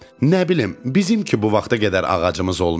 Nə bilim, bizimki bu vaxta qədər ağacımız olmayıb.